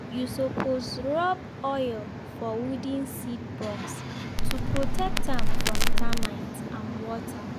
you suppose rub oil for wooden seed box to protect am from termite and water.